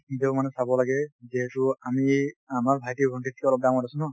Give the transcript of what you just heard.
অলপ নিজেও মানে চাব লাগে যিহেতু আমি আমাৰ ভাইটী ভন্টিতকে অলপ ডাঙৰ আছো ন।